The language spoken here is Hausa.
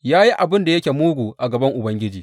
Ya yi abin da yake mugu a gaban Ubangiji.